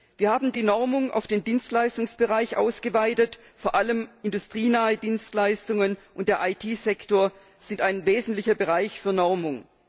Wir haben die Normung auf den Dienstleistungsbereich ausgeweitet, vor allem industrienahe Dienstleistungen und der IT Sektor sind ein wesentlicher Bereich für Normung.